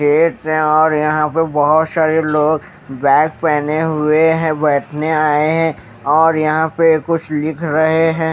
हैं और यहां पे बहुत सारे लोग बैग पहने हुए हैं बैठने आए हैं और यहां पे कुछ लिख रहे हैं।